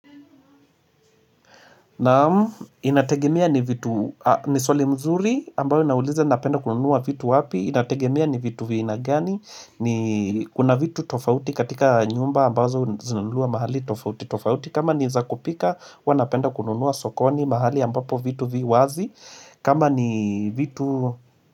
Naam inategemea ni vitu ni swali mzuri ambayo inaulize napenda kununuwa vitu wapi Inategemea ni vitu vya aina gani ni kuna vitu tofauti katika nyumba ambazo zinuliwa mahali tofauti tofauti kama ni za kupika wanapenda kununuwa sokoni mahali ambapo vitu vi wazi kama ni vitu.